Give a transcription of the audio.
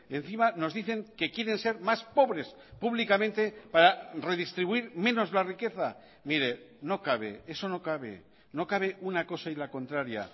encima nos dicen que quieren ser más pobres públicamente para redistribuir menos la riqueza mire no cabe eso no cabe no cabe una cosa y la contraria